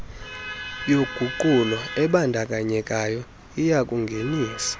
yoguqulo ebandakanyekayo iyakungenisa